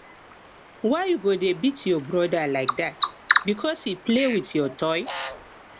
why you go dey beat your broda like dat because he play with your toy